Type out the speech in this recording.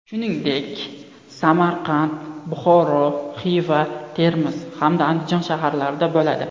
Shuningdek, Samarqand, Buxoro, Xiva, Termiz hamda Andijon shaharlarida bo‘ladi.